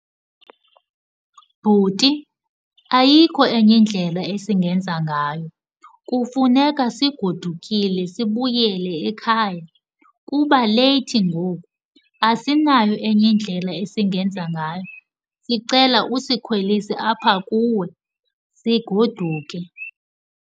Bhuti, ayikho enye indlela esingenza ngayo. Kufuneka sigodukile sibuyele ekhaya kuba leyithi ngoku. Asinayo enye indlela esingenza ngayo. Sicela usikhwelise apha kuwe sigoduke.